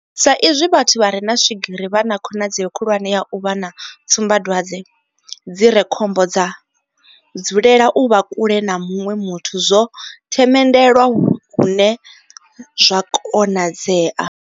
Sa izwi vhathu vha re na swigiri vha na khonadzeo khulwane ya u vha na tsumbadwadze dzi re khombo dza dzulela u vha kule na muṅwe muthu zwo themendelwa hune zwa konadzea.